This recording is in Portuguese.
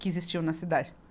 que existiam na cidade.